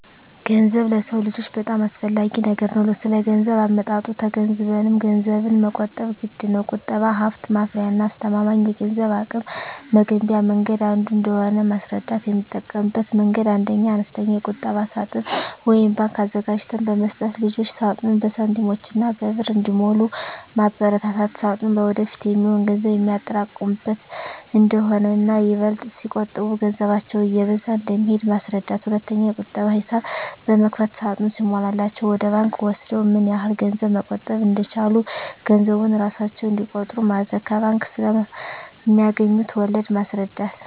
ገንዘብ ለሰው ልጆች በጣም አስፈላጊ ነገር ነው ስለገንዘብ አመጣጡ ተገንዝበንም ገንዘብን መቆጠብ ግድነው። ቁጠባ ሀብት ማፍሪያና አስተማማኝ የገንዘብ አቅም መገንቢያ መንገድ አንዱ እንደሆነ ማስረዳት: የምጠቀምበት መንገድ 1ኛ, አነስተኛ የቁጠባ ሳጥን (ባንክ) አዘጋጅተን በመስጠት ልጆች ሳጥኑን በሳንቲሞችና በብር እንዲሞሉ ማበርታት ሳጥኑ ለወደፊት የሚሆን ገንዘብ የሚያጠራቅሙበት እንደሆነና ይበልጥ ሲቆጥቡ ገንዘባቸው እየበዛ እንደሚሄድ ማስረዳት። 2ኛ, የቁጠባ ሂሳብ በመክፈት ሳጥኑ ሲሞላላቸው ወደ ባንክ ወስደው ምን ያህል ገንዘብ መቆጠብ እንደቻሉ ገንዘቡን እራሳቸው እንዲቆጥሩ ማድረግ። ከባንክ ስለማገኙት ወለድ ማስረዳት።